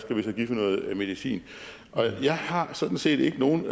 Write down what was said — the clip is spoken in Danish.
vi noget medicin og jeg har sådan set ikke nogen